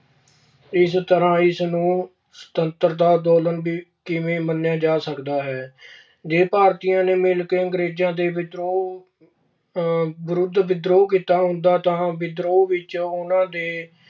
ਇਸ ਕਰਕੇ ਇਸ ਨੂੰ ਸੁਤੰਤਰਤਾ ਅੰਦੋਲਨ ਵੀ ਕਿਵੇਂ ਮੰਨਿਆ ਜਾ ਸਕਦਾ ਹੈ। ਜੇ ਭਾਰਤੀ ਨੇ ਮਿਲ ਕੇ ਅੰਗਰੇਜ਼ਾਂ ਦੇ ਵਿਦਰੋਹ ਅਹ ਵਿਰੁੱਧ ਵਿਦਰੋਹ ਕੀਤਾ ਹੁੰਦਾ ਤਾਂ ਵਿਦਰੋਹ ਵਿੱਚ ਉਨ੍ਹਾਂ ਦੀ